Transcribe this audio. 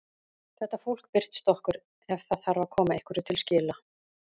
Þetta fólk birtist okkur ef það þarf að koma einhverju til skila.